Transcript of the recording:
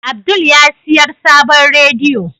Abdul yasiyar sabon rediyo.